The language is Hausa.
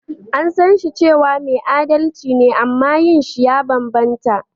An san shi cewa mai adalci ne amma yin shi ya banbanta.